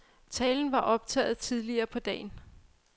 Talen var optaget tidligere på dagen.